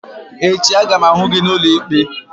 Echi a ga m ahụ gị n'ụlọ ikpe!